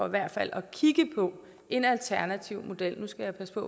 i hvert fald at kigge på en alternativ model nu skal jeg passe på